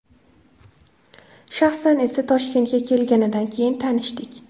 Shaxsan esa, Toshkentga kelganidan keyin tanishdik.